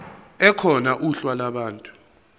ekhona uhla lwabantu